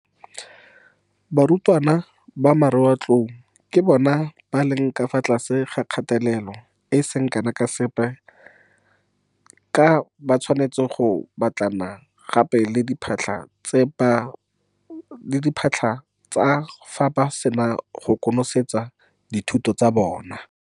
Barutwana ba Marematlou ke bona ba leng ka fa tlase ga kgatelelo e e seng kana ka sepe ka ba tshwanetse go batlana gape le diphatlha tsa fa ba sena go konosetsa dithuto tsa bona.